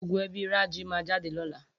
Gbogbo ebí Raji máa jáde lọ́la.